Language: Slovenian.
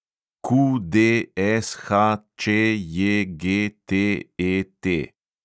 QDSHČJGTET